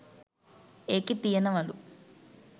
එකේ තියෙනවලු